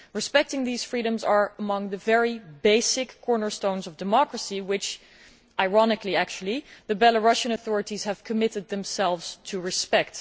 Respecting these freedoms is among the very basic cornerstones of democracy which, ironically, the Belarusian authorities have committed themselves to respect.